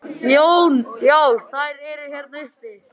Jón: Já þær eru hérna uppi?